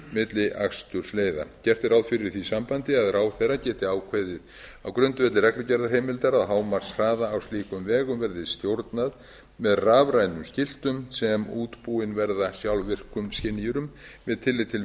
milli akstursleiða gert er ráð fyrir í því sambandi að ráðherra geti ákveðið á grundvelli reglugerðarheimildar að hámarkshraða á slíkum vegum verði stjórnað með rafrænum skiltum sem útbúin verða sjálfvirkum skynjurum með tilliti til